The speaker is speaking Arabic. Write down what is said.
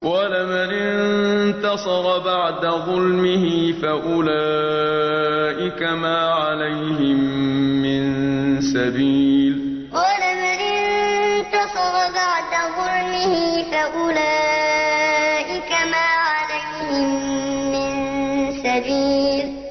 وَلَمَنِ انتَصَرَ بَعْدَ ظُلْمِهِ فَأُولَٰئِكَ مَا عَلَيْهِم مِّن سَبِيلٍ وَلَمَنِ انتَصَرَ بَعْدَ ظُلْمِهِ فَأُولَٰئِكَ مَا عَلَيْهِم مِّن سَبِيلٍ